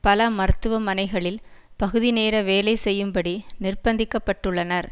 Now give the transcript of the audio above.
பல மருத்துவமனைகளில் பகுதிநேர வேலை செய்யும்படி நிர்பந்திக்கப்பட்டுள்ளனர்